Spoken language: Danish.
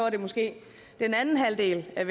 er